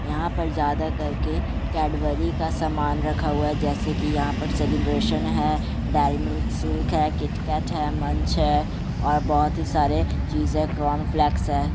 यहां पे ज्यादा करके कैडबरी का सामान रखा हुआ है जेसे की यहां पर सेलीब्रैशन है ।डेरी मिल्क सिल्क है किटकैट है मंच है और बहुत सारी चीज़े कॉर्न फ्लैक्स है ।